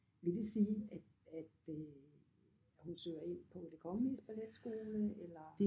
Vil det sige at at øh hun søger ind på det kongeliges balletskole eller?